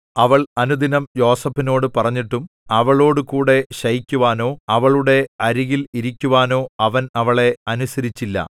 അവൾ അനുദിനം യോസേഫിനോടു പറഞ്ഞിട്ടും അവളോടുകൂടെ ശയിക്കുവാനോ അവളുടെ അരികിൽ ഇരിക്കുവാനോ അവൻ അവളെ അനുസരിച്ചില്ല